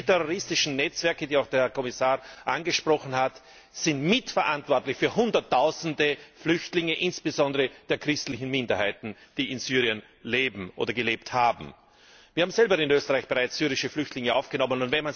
Und diese terroristischen Netzwerke, die auch der Herr Kommissar angesprochen hat, sind mitverantwortlich für hunderttausende Flüchtlinge, insbesondere der christlichen Minderheiten, die in Syrien leben oder gelebt haben. Wir haben in Österreich selber bereits syrische Flüchtlinge aufgenommen.